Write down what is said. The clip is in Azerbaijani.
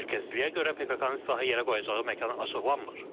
Təhlükəsizliyə görə PKK-nın silahı yerə qoyacağı məkan açıqlanmır.